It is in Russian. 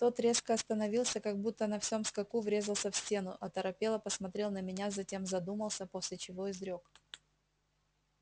тот резко остановился как будто на всем скаку врезался в стену оторопело посмотрел на меня затем задумался после чего изрёк